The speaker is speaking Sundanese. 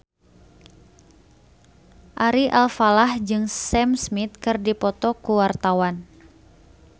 Ari Alfalah jeung Sam Smith keur dipoto ku wartawan